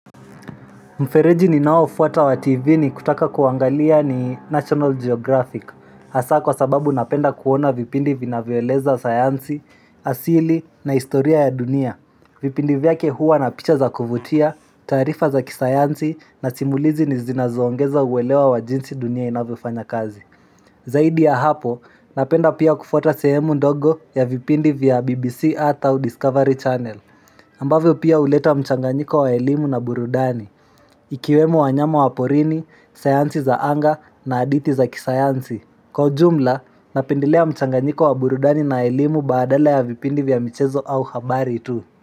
Mfereji ninaofuata wa TV ni kutaka kuangalia ni National Geographic. Asa kwa sababu napenda kuona vipindi vinavioeleza sayansi, asili na istoria ya dunia. Vipindi vyake huwa na picha za kuvutia, tarifa za kisayansi na simulizi ni zinazoongeza uwelewa wa jinsi dunia inavyo fanya kazi. Zaidi ya hapo, napenda pia kufuata sehemu ndogo ya vipindi vya BBC ata au Discovery Channel. Ambavyo pia huleta mchanganyiko wa elimu na burudani Ikiwemo wanyama wa porini, sayansi za anga na aditi za kisayansi Kwa jumla, napindilea mchanganyiko wa burudani na elimu badala ya vipindi vya michezo au habari tu.